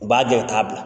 U b'a jɔ k'a bila